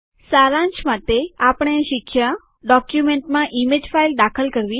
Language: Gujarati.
સારાંશ માટે આપણે શીખ્યા ડોક્યુમેન્ટમાં ઇમેજ ફાઇલ દાખલ કરવા